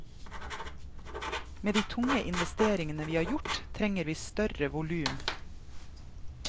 Med de tunge investeringene vi har gjort, trenger vi større volum.